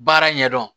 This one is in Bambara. Baara ɲɛdɔn